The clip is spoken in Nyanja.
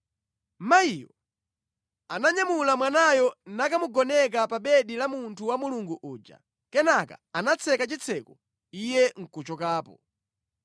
Mayiyo ananyamula mwanayo nakamugoneka pa bedi la munthu wa Mulungu uja. Kenaka anatseka chitseko iye nʼkuchokapo.